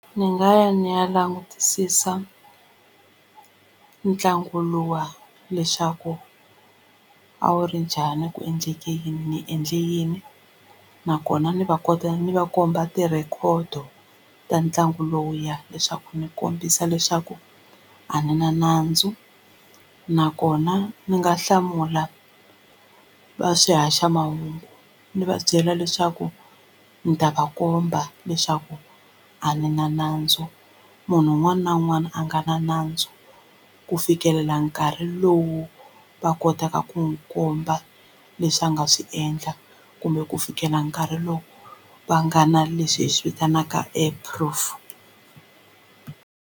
Ndzi nga ya ni ya langutisisa ntlangu luwa leswaku a wu ri njhani ku endleke yini ni endle yini nakona ni va kota ni va komba ti-record-o ta ntlangu lowuya leswaku ndzi kombisa leswaku a ni na nandzu nakona ndzi nga hlamula va swihaxamahungu ndzi va byela leswaku ni ta va komba leswaku a ni na nandzu munhu un'wana na un'wana a nga na nandzu ku fikelela nkarhi lowu va kotaka ku n'wi komba leswi a nga swi endla kumbe ku fikela nkarhi lowu va nga na leswi hi swi vitanaka proof.